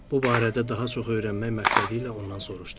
Bu barədə daha çox öyrənmək məqsədilə ondan soruşdum.